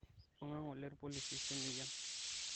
ibunga ngole irpolisi semeyian